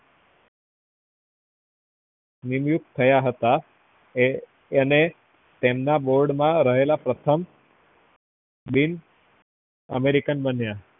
નીવ્યુક્ત થયા હતા એ અને તેમના board માં રયેલા પ્રથમ american બન્યા